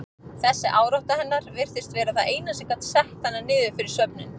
Þessi árátta hennar virtist vera það eina sem gat sett hana niður fyrir svefninn.